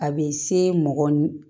A bɛ se mɔgɔ